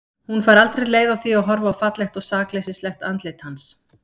Hún fær aldrei leið á því að horfa á fallegt og sakleysislegt andlit hans.